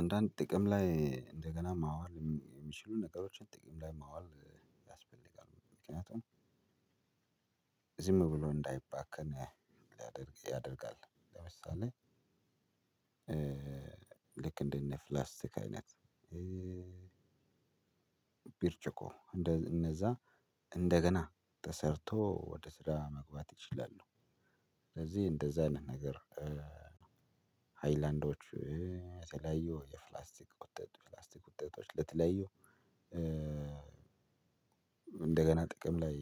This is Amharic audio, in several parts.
አንዳንድ ጥቅም ላይ እንደገና ማዋል የሚችሉ ነገሮችን ጥቅም ላይ ማዋል ያስፈልጋሉ ምክንያቱም ዝም ብሎ እንዳይባክን ያደርጋል። ለምሳሌ ልክ እንደ ፕላስቲክ አይነት። ብርጭቆ እንደዛ እንደገና ተሰርቶ ወደ ስራ መግባት ይችላል ነው። ስለዚህ እንደዛ አይነት ነገር ሃይላንዶች የተለያየ የፕላስቲክ ውጤቶች ፕላስቲክ ውጤቶችለተለያዩ እንደገና ጥቅም ላይ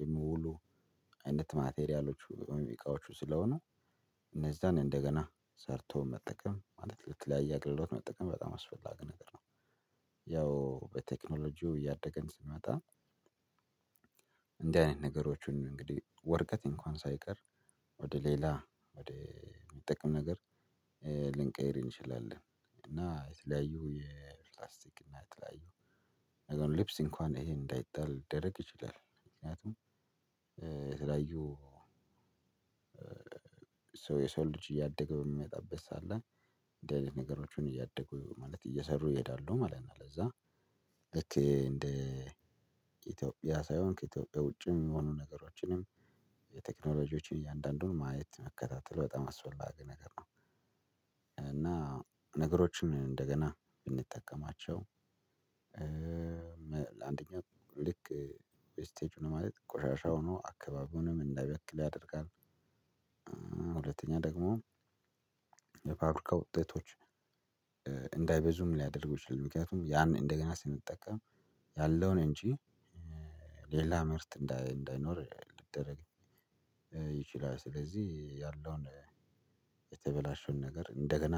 የሚውሉአይነት ማቴሪያሎቹ እቃዎቹ ስለሆኑ እነዛን እንደገና ሰርቶ መጠቀም ማለት ለተለያየ አገልግሎት መጠቀም በጣም አስፈላጊ ነገር ነው። ያው በቴክኖሎጂው እያደግን ስንመጣ እንደዚህ አይነት ነገሮችን እንግዲህ ወርቀት እንኳን ሳይቀር ወደ ሌላ ወደ የሚጠቅም ነገር ልንቀይር እንችላለን። እና የተለያዩ የፕላስቲክ እና የተለያዩ ነገር ልብስ እንኳን ይሄን እንዳይጠል ሊደረግ ይችላል። ምክንያቱም የተለያዩ ሰው የሰው ልጅ እያደገ በሚመጣበት ሰዓት ላይ እንደዚህ አይነት ነገሮችን እያደጉ ማለት እየሰሩ ይሄዳሉ ማለት ነው። ለዛ ልክ እንደ ኢትዮጵያ ሳይሆን ከኢትዮጵያ ውጭም የሚሆኑ ነገሮችንም የቴክኖሎጂዎችን እያንዳንዱን ማየት መከታተል በጣም አስወላጊ ነገር ነው። እና ነገሮችን እንደገና ብንጠቀማቸው አንደኛ ልክ ስቴጁን ነው ማለት ቆሻሻ ሆኖ አካባቢ ሆኖም እንዳይበክል ያደርጋል። ሁለተኛ ደግሞ የፋብሪካ ውጤቶች እንዳይበዙ ሊያደርግ ይችላል። ምክንያቱም ያንን እንደገና ስንጠቀም ያለውን እጂ ሌላ ምርት እንዳይኖር ያደርጋል። ስለዚህ ያለውን የተበላሸውን ነገር እንደገና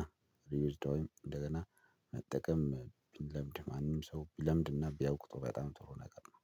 ሪዊዝድ ወይም እንደገና መጠቀም ቢለምድ ማንም ሰው ቢለምድና ቢያውቅ በጣም ጥሩ ነገር ነው።